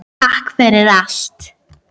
Takk fyrir allt.